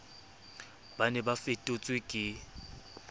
ba ne ba fetotswe ke